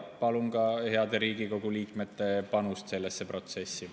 Palun ka heade Riigikogu liikmete panust sellesse protsessi.